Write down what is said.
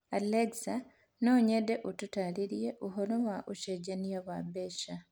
Alexa, no nyende ũtaarĩrie ũhoro wa ũcenjania wa mbeca